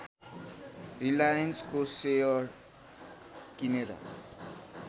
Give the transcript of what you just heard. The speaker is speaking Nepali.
रिलायन्सको सेयर किनेर